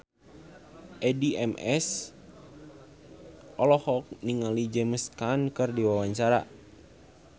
Addie MS olohok ningali James Caan keur diwawancara